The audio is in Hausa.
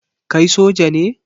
Kai soja ne?